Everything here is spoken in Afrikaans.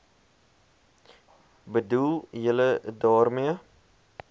bedoel julle daarmee